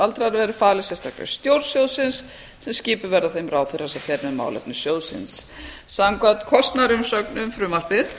aldraðra verði falið sérstakri stjórn sjóðsins sem skipuð verði af þeim ráðherra sem fer með málefni sjóðsins samkvæmt kostnaðar umsögn um frumvarpið